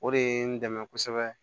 O de ye n dɛmɛ kosɛbɛ